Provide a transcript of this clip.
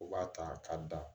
U b'a ta ka da